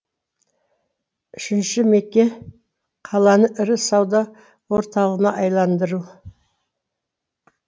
үшінші меже қаланы ірі сауда орталығына айналдыру